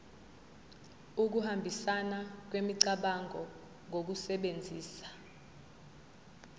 ukuhambisana kwemicabango ngokusebenzisa